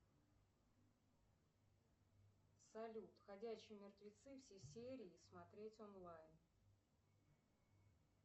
салют ходячие мертвецы все серии смотреть онлайн